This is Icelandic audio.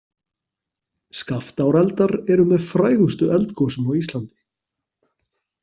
Skaftáreldar eru með frægustu eldgosum á Íslandi.